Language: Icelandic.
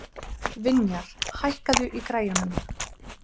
Vinjar, hækkaðu í græjunum.